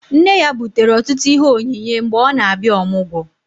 Nne ya butere ọtụtụ ihe onyinye mgbe ọ na-abịa ọmụgwọ